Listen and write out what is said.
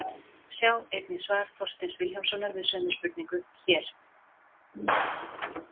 Sjá einnig svar Þorsteins Vilhjálmssonar við sömu spurningu, hér.